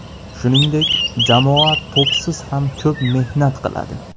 Shuningdek, jamoa to‘psiz ham ko‘p mehnat qiladi.